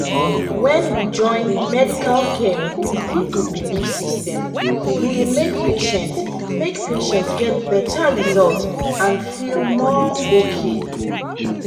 when we join medical care with people belief system e dey make patients make patients get better result and feel more okay.